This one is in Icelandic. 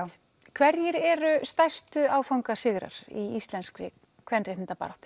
hverjir eru stærstu áfangasigrar í íslenskri kvenréttindabaráttu